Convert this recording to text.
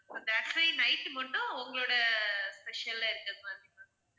actually night மட்டும் உங்களோட special இருக்கிற மாதிரி ma'am